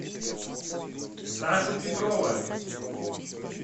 сашу петрова